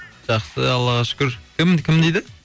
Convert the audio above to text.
жақсы аллаға шүкір кім кім дейді